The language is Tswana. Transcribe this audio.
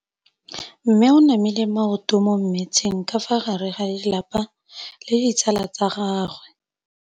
Mme o namile maoto mo mmetseng ka fa gare ga lelapa le ditsala tsa gagwe.